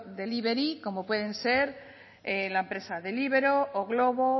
delibery como pueden ser la empresa deliveroo o glovo